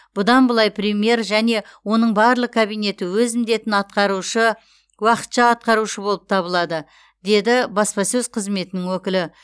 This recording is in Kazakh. бұдан былай премьер және оның барлық кабинеті өз міндетін атқарушы уақытша атқарушы болып табылады деді баспасөз қызметінің өкілі